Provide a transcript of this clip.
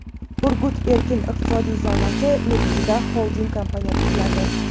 "Urgut" erkin iqtisodiy zonasi negizida xolding kompaniya tuziladi.